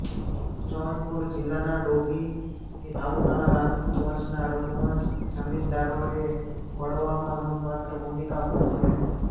જૌનપુર જિલ્લાના ડોભી તાલુકાના રાજપૂત વંશના રઘુવંશ જમીનદારોએ બળવામાં નોંધપાત્ર ભૂમિકા ભજવી હતી